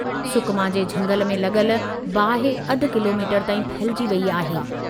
सुकमा जे झंगलि में लॻलि बाहि अधु किलीमीटरु ताईं फहिलजी वेई आहे।